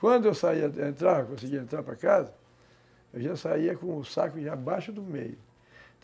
Quando eu saía, entrava, conseguia entrar para casa, eu já saía com o saco já abaixo do meio.